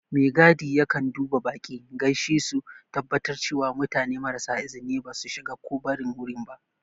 Megadi yakan duba baƙi, gaishe su, tabbatar cewa mutane marasa izini ba su shiga ko barin wurin ba.